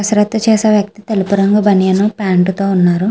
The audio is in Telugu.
కసరత్తు చేసే వ్యక్తి తెలుపు రంగు బనియన్ ప్యాంటు తో ఉన్నాడు.